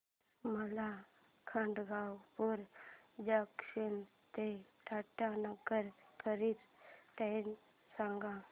मला खडगपुर जंक्शन ते टाटानगर करीता ट्रेन सांगा